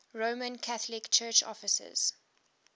roman catholic church offices